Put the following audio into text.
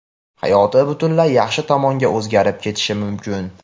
hayoti butunlay yaxshi tomonga o‘zgarib ketishi mumkin.